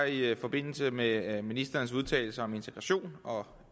i forbindelse med ministerens udtalelser om integration og